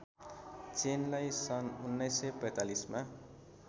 चेनलाई सन् १९४५ मा